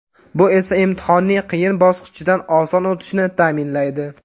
Bu esa imtihonning qiyin bosqichidan oson o‘tishni ta’minlaydi.